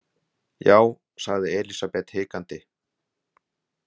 Já, sagði Elísabet hikandi.